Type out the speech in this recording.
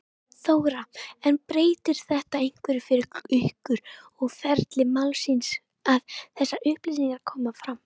Þóra: En breytir þetta einhverju fyrir ykkur og ferli málsins að þessar upplýsingar komi fram?